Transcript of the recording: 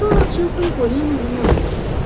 Tomas Çilton Poliannanı müayinə etdi.